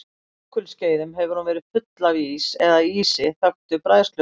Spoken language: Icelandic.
Á jökulskeiðum hefur hún verið full af ís eða ísi þöktu bræðsluvatni.